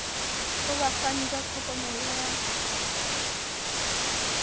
ho bafani ba tlhokomelo ya